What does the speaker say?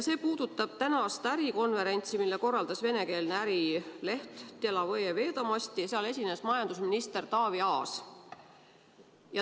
See puudutab tänast ärikonverentsi, mille korraldas venekeelne ärileht Delovõje Vedomosti ja kus esines majandusminister Taavi Aas.